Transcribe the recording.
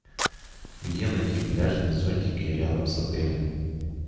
где найти пляжные зонтики рядом с отелем